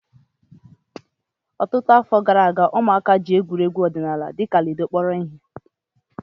Ọtụtụ afọ gara aga, ụmụaka ji egwuregwu ọdịnala dịka ludo kpọrọ ihe